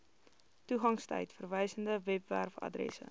toegangstyd verwysende webwerfaddresse